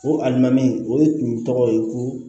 O alimami o tun tɔgɔ ye ko